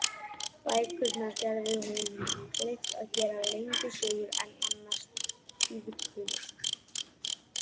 Bækurnar gerðu honum kleift að gera lengri sögur en annars tíðkuðust.